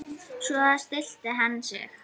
Svo stillti hann sig.